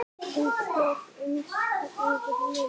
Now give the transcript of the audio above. Hún svaf uns yfir lauk.